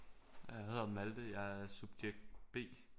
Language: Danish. Jeg hedder Malthe jeg er subjekt B